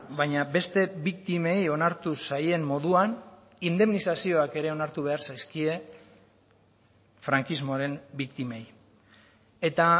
baina beste biktimei onartu zaien moduan indemnizazioak ere onartu behar zaizkie frankismoaren biktimei eta